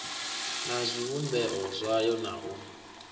na zwivhumbeo zwayo na u